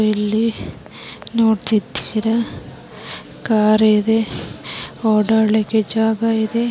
ಇಲ್ಲಿ ನೋಡ್ತಿದ್ದೀರಾ ಕಾರ್ ಇದೆ ಓಡಾಡ್ಲಿಕ್ಕೆ ಜಾಗ ಇದೆ